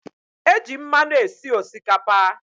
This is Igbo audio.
E j mmanụ esi Osikapa